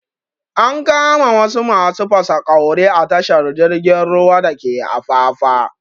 An kama wasu masu fasaƙauri a tashar jirgin ruwa dake afafa